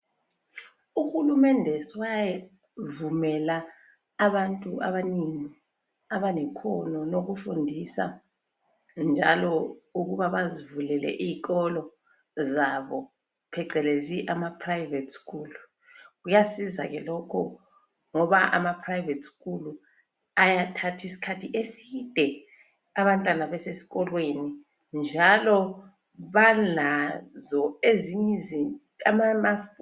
Uhulumende sewavumela abantu abanengi abalekhono lokufundisa njalo ukuba bazivulele izikolo zabo ( ama private school). Kuyasiza ke lokho ngoba ama private school ayathatha iskhathi eside abantwana besesikolweni. Njalo balazo ezinye izinto ama mask.